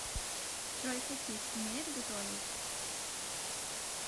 джой хасис умеет готовить